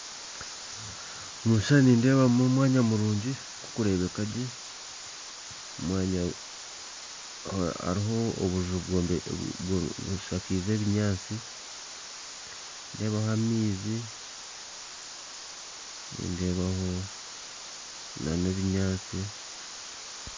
Omu kishushani nindeebamu omwanya murungi gurikurebeka gye, omwanya hariho obuju bushakiize ebinyaatsi, nindeebaho amaizi, nindeebaho n'ebinyaatsi.